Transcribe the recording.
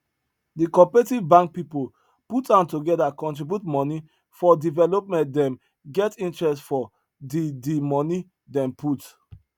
the cooperative bank people put hand together contribute money for development them get interest for the the money them put